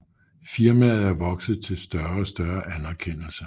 Firmaet er vokset til større og større anerkendelse